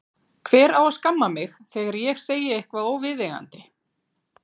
Hver á að skamma mig þegar ég segi eitthvað óviðeigandi?